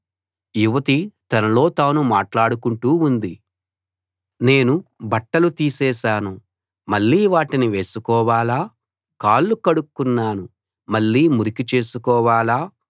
యువతి తనలో తాను మాట్లాడుకుంటూ ఉంది నేను బట్టలు తీసేశాను మళ్ళీ వాటిని వేసుకోవాలా కాళ్ళు కడుక్కున్నాను మళ్ళీ మురికి చేసుకోవాలా